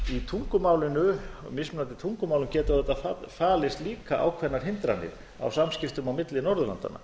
í mismunandi tungumálum geta auðvitað falist líka ákveðnar hindranir á samskiptum á milli norðurlandanna